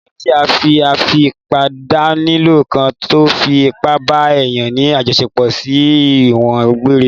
Ofin tí fi afipábánilò kan tó fi ipa bá èèyàn ní àjọṣepọ̀ sí ẹ̀wọ̀n gbeŕre